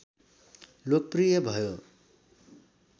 लोकप्रिय भयो